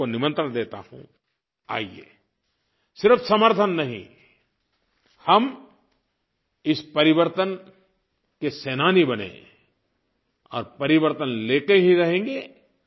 मैं आपको निमंत्रण देता हूँ आइए सिर्फ समर्थन नहीं हम इस परिवर्तन के सेनानी बनें और परिवर्तन लेकर ही रहेंगे